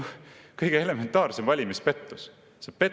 See on kõige elementaarsem valimispettus!